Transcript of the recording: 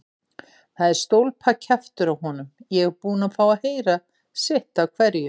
Það er stólpakjaftur á honum, ég er búinn að fá að heyra sitt af hverju.